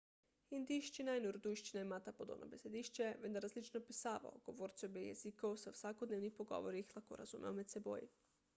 hindijščina in urdujščina imata podobno besedišče vendar različno pisavo govorci obeh jezikov se v vsakodnevnih pogovorih lahko razumejo med seboj